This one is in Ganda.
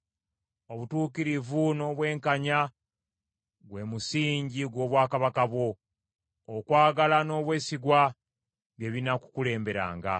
Obutuukirivu n’obwenkanya gwe musingi gw’obwakabaka bwo. Okwagala n’obwesigwa bye binaakukulemberanga.